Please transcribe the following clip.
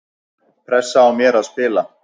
Pressa á mér að spila